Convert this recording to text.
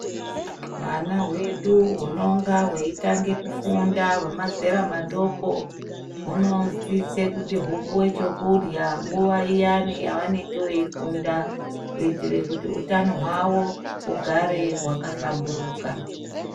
Hwana wedu hunotanga kufunda hwemazera madoko hunosiswa hupuwechekudya nguwa iya yaunenge wefunda kuitire kut hutano hwavo hugari wakahlamburika.